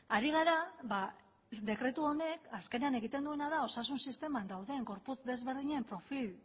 ari gara dekretu honek azkenean egiten duena osasun sisteman dauden gorputz desberdinen profil